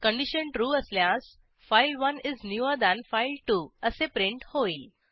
condition trueअसल्यास file one is newer than file two असे print होईल